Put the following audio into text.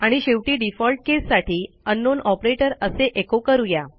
आणि शेवटी डिफॉल्ट केससाठी अंकनाउन ऑपरेटर असे एचो करू या